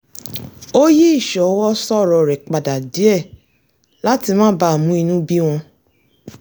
ó yí ìsọwọ sọ̀rọ̀ rẹ̀ padà díẹ̀ láti má bàa mú inú bí wọn